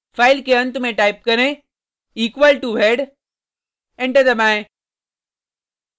file के अंत में टाइप करें equal to head एंटर दबाएँ